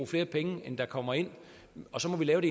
flere penge end der kommer ind og så må man lave